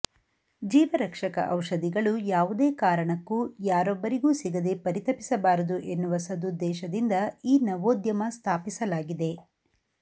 ಜೀವರಕ್ಷಕ ಔಷಧಿಗಳು ಯಾವುದೇ ಕಾರಣಕ್ಕೂ ಯಾರೊಬ್ಬರಿಗೂ ಸಿಗದೆ ಪರಿತಪಿಸಬಾರದು ಎನ್ನುವ ಸದುದ್ದೇಶದಿಂದ ಈ ನವೋದ್ಯಮ ಸ್ಥಾಪಿಸಲಾಗಿದೆ